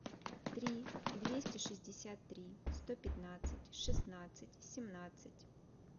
три двести шестьдесят три сто пятнадцать шестнадцать семнадцать